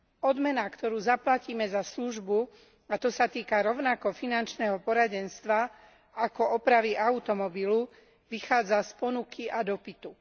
Odmena, ktorú zaplatíme za službu, a to sa týka rovnako finančného poradenstva, ako opravy automobilu, vychádza z ponuky a dopytu.